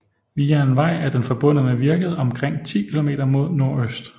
Via en vej er den forbundet med Virket omkring 10 km mod nordøst